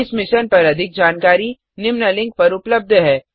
इस मिशन पर अधिक जानकारी निम्न लिंक पर उपलब्ध है